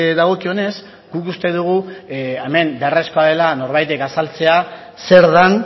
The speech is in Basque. dagokionez guk uste dugu hemen beharrezkoa dela norbaitek azaltzea zer den